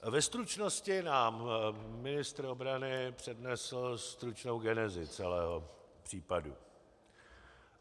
Ve stručnosti nám ministr obrany přednesl stručnou genezi celého případu.